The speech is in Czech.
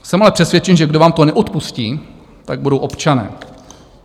Jsem ale přesvědčen, že kdo vám to neodpustí, tak budou občané.